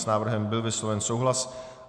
S návrhem byl vysloven souhlas.